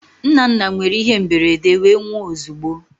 Nnanna nwere ihe mberede wee nwụọ ozugbo